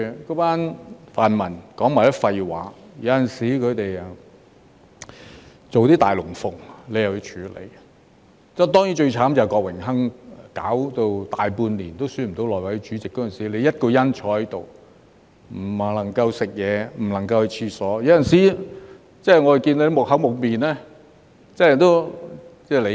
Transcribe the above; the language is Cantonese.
那班泛民說的全是廢話，有時他們做些"大龍鳳"，你又要處理，當然，最要命的就是郭榮鏗搞了大半年都選不出內務委員會主席，那時你一個人坐在這裏，不能去吃東西，不能去廁所，有時我們看到你木無表情，這真的可以理解。